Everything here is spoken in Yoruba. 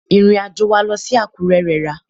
Ìrìn àjò wa lọ sí Àkúrẹ́ rẹra.